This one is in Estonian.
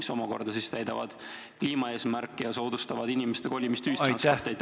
See ju aitaks täita kliimaeesmärki ja soodustaks ühistranspordi kasutamist.